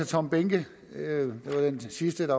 tom behnke den sidste